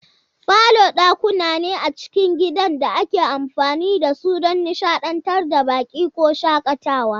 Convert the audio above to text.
Falo dakuna ne a cikin gidan da ake amfani da su don nishadantar da baƙi ko shakatawa.